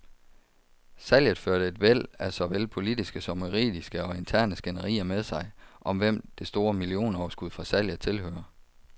Salget førte et væld af såvel politiske som juridiske og interne skænderier med sig, om hvem det store millionoverskud fra salget tilhører.